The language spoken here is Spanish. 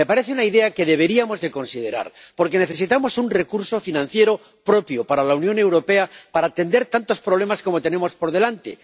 Me parece una idea que deberíamos considerar, porque necesitamos un recurso financiero propio para la Unión Europea, para atender tantos problemas como tenemos por delante.